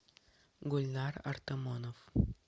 гульнар артамонов